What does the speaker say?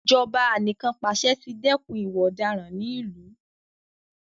Ijọba anìkànpàṣẹ ti dẹ́kun ìwà ọ̀daràn ní ìlú.